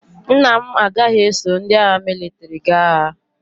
Nna m agaghị eso ndị agha mịlịtrị gaa agha.